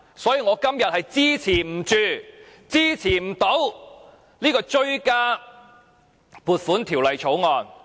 因此，我今天不能支持這項追加撥款條例草案。